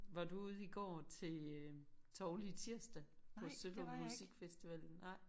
Var du ude i går til øh Tovli' Tirsdag på Sølund musikfestivallen nej?